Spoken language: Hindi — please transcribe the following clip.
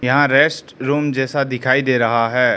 हां रेस्ट रूम जैसा दिखाई दे रहा है।